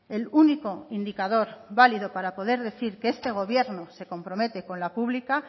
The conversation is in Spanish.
el único indicador válido para poder decir que este gobierno se compromete con la pública